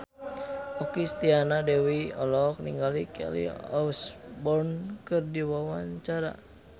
Okky Setiana Dewi olohok ningali Kelly Osbourne keur diwawancara